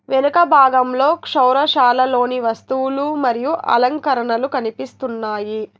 వెనక భాగంలో క్షోరశాలలోని వస్తువులు మరియు అలంకరణలు కనిపిస్తున్నాయి.